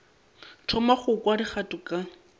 thoma go kwa dikgato ka